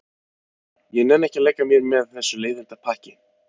Ég nenni ekki að leika mér með þessu leiðindapakki.